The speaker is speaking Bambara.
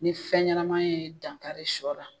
Ni fɛn ɲɛnama ye dankari sɔ la.